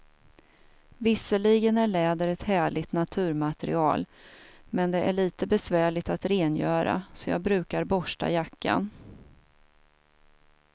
Visserligen är läder ett härligt naturmaterial, men det är lite besvärligt att rengöra, så jag brukar borsta jackan.